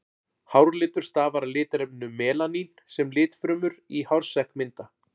Hárlitur stafar af litarefninu melanín sem litfrumur í hársekk mynda.